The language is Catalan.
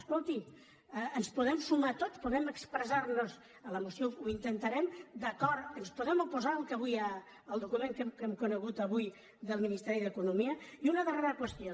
escolti ens podem sumar tots podem expressar nos en la moció ho intentarem d’acord ens podem oposar al document que hem conegut avui del ministeri d’economia i una darrera qüestió